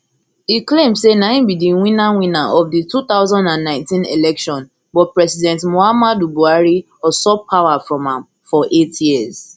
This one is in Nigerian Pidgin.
e claim say na im be di winner winner of di two thousand and nineteen election but president muhammadu buhari usurp power from am for eight years